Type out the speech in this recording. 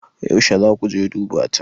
Yauce zaa kuje duba ta?